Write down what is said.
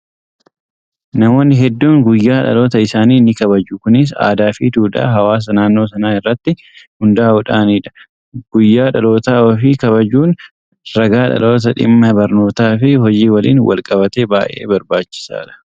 Namoonni hedduun guyyaa dhaloota isaanii ni kabaju. Kunis aadaa fi duudhaa hawaasa naannoo sanaa irratti hundaa'uudhaanidha. Guyyaa dhaloota ofii kabajuun ragaa dhalootaa dhimma barnootaa fi hojii waliin wal qabatee baay'ee barbaachisaadha!